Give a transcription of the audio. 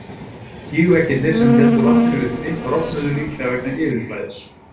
Gígveggirnir sem héldu vatninu uppi, rofnuðu, líklega vegna yfirflæðis.